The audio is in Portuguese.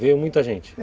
Vieram muita gente?